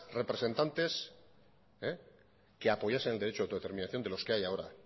representantes que apoyasen el derecho de autodeterminación de los que hay ahora